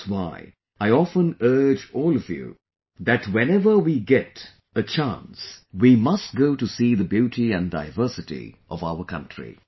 That's why I often urge all of you that whenever we get a chance, we must go to see the beauty and diversity of our country